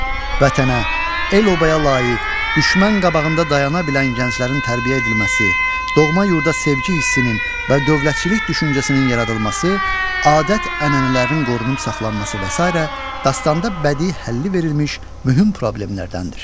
Vətənə, el-obaya layiq, düşmən qabağında dayana bilən gənclərin tərbiyə edilməsi, doğma yurda sevgi hissinin və dövlətçilik düşüncəsinin yaradılması, adət-ənənələrin qorunub saxlanması və sair dastanda bədii həlli verilmiş mühüm problemlərdəndir.